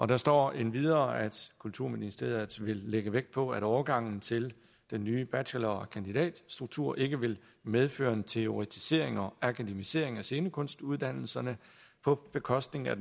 der står endvidere at kulturministeriet vil lægge vægt på at overgangen til den nye bachelor og kandidatstruktur ikke vil medføre en teoretisering og akademisering af scenekunstuddannelserne på bekostning af